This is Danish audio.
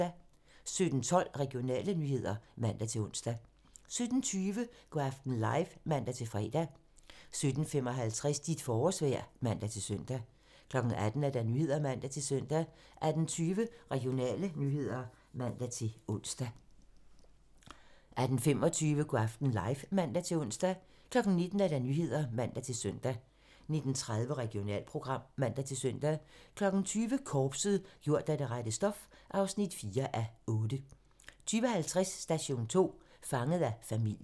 17:12: Regionale nyheder (man-ons) 17:20: Go' aften live (man-fre) 17:55: Dit forårsvejr (man-søn) 18:00: Nyhederne (man-søn) 18:20: Regionale nyheder (man-ons) 18:25: Go' aften live (man-ons) 19:00: Nyhederne (man-søn) 19:30: Regionalprogram (man-søn) 20:00: Korpset - gjort af det rette stof (4:8) 20:50: Station 2: Fanget af familien